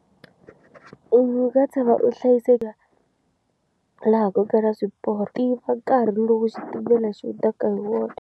U nga tshama u hlayiseka laha ko kala swiporo tiva nkarhi lowu xitimela xi hundzaka hi wona.